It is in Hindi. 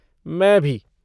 मैं भी।